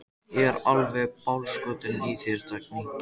Ég er alveg bálskotinn í þér, Dagný!